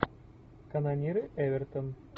канониры эвертон